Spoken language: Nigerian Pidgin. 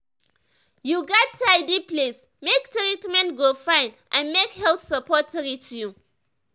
you gats tidy place make treatment go fine and make health support reach you.